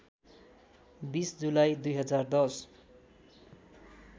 २० जुलाई २०१०